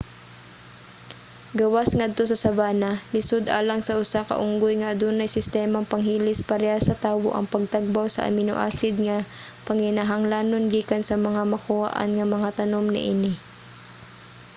gawas ngadto sa savanna lisod alang sa usa ka unggoy nga adunay sistemang panghilis parehas sa tawo ang pagtagbaw sa amino-acid nga panginahanglanon gikan sa mga makuhaan nga mga tanom niini